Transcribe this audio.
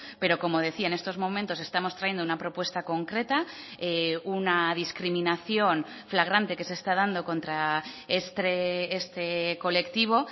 pero como decía en estos momentos estamos trayendo una propuesta concreta una discriminación flagrante que se está dando contra este colectivo